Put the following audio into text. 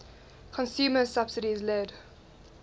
consumer subsidies led